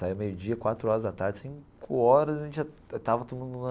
Saía meio-dia, quatro horas à tarde, cinco horas a gente já estava todo mundo lá.